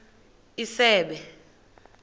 isebe